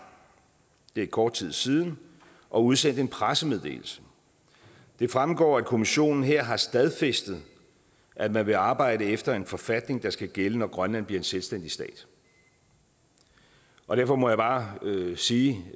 det er kort tid siden og udsendte en pressemeddelelse det fremgår at kommissionen her har stadfæstet at man vil arbejde efter en forfatning der skal gælde når grønland bliver en selvstændig stat og derfor må jeg bare sige